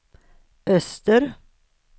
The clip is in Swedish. öster